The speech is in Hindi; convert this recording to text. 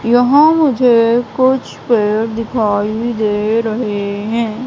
यहां मुझे कुछ पेड़ दिखाई दे रहे हैं।